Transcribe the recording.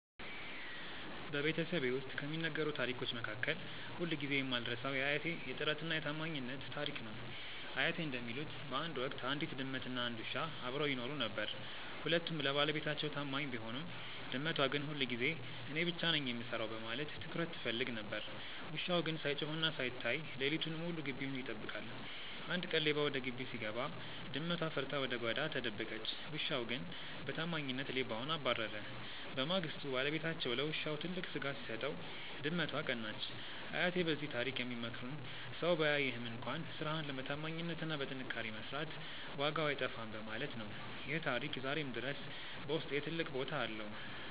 በቤተሰቤ ውስጥ ከሚነገሩ ታሪኮች መካከል ሁልጊዜ የማልረሳው የአያቴ "የጥረትና የታማኝነት" ታሪክ ነው። አያቴ እንደሚሉት፣ በአንድ ወቅት አንዲት ድመትና አንድ ውሻ አብረው ይኖሩ ነበር። ሁለቱም ለባለቤታቸው ታማኝ ቢሆኑም፣ ድመቷ ግን ሁልጊዜ እኔ ብቻ ነኝ የምሰራው በማለት ትኩረት ትፈልግ ነበር። ውሻው ግን ሳይጮህና ሳይታይ ሌሊቱን ሙሉ ግቢውን ይጠብቃል። አንድ ቀን ሌባ ወደ ግቢው ሲገባ፣ ድመቷ ፈርታ ወደ ጓዳ ተደበቀች። ውሻው ግን በታማኝነት ሌባውን አባረረ። በማግስቱ ባለቤታቸው ለውሻው ትልቅ ስጋ ሲሰጠው፣ ድመቷ ቀናች። አያቴ በዚህ ታሪክ የሚመክሩን ሰው ባያይህም እንኳን ስራህን በታማኝነትና በጥንካሬ መስራት ዋጋው አይጠፋም በማለት ነው። ይህ ታሪክ ዛሬም ድረስ በውስጤ ትልቅ ቦታ አለው።